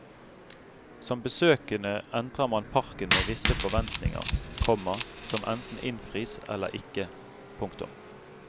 Som besøkende entrer man parken med visse forventninger, komma som enten innfris eller ikke. punktum